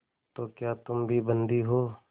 तो क्या तुम भी बंदी हो